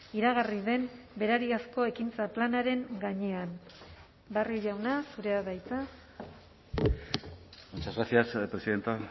iragarri den berariazko ekintza planaren gainean barrio jauna zurea da hitza muchas gracias presidenta